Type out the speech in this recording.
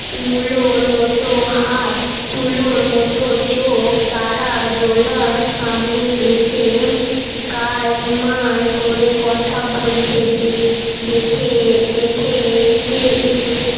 মুলোর মতো হাত চুলোর মতো চোখ তারা জোলার সামনে এসে কায়ায় করে কথা বলছে দেখে দেখে